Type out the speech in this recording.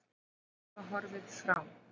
Sumir hafa horfið frá.